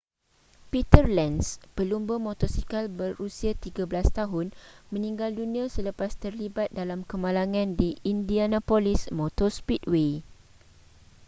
peter lenz pelumba motosikal berusia 13 tahun meninggal dunia selepas terlibat dalam kemalangan di indianapolis motor speedway